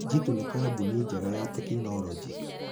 Jitu nĩ kambuni njega ya tekinoronjĩ.